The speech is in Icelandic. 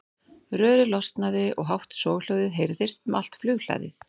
Rörið losnaði og hátt soghljóðið heyrðist um allt flughlaðið.